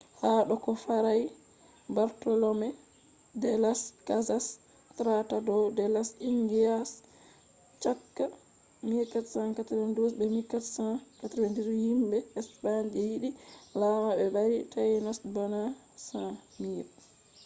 ha do ko fray bartolome de las casas tratado de las indias chaka 1492 be 1498 himbe spain je yidi lama be bari tainos bana 100,000